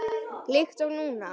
Líkt og núna.